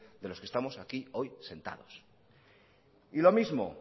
de los que estamos aquí hoy sentados y lo mismo